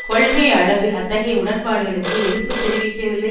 கொள்கை அளவில் அத்தகைய உடன்பாடுகளுக்கு எதிர்ப்பு தெரிவிக்கவில்லை